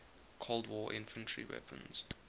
cold war infantry weapons